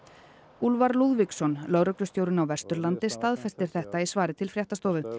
Úlfar Lúðvíksson lögreglustjórinn á Vesturlandi staðfestir þetta í svari til fréttastofu